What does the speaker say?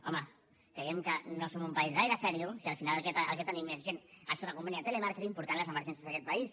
home creiem que no som un país gaire seriós si al final el que tenim és gent sota conveni de telemàrqueting portant les emergències d’aquest país